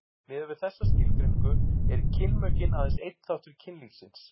miðað við þessa skilgreiningu eru kynmökin aðeins einn þáttur kynlífsins